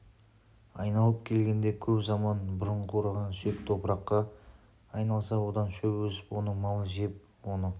айналып келгенде көп заман бұрын қураған сүйек топыраққа айналса одан шөп өсіп оны мал жеп оны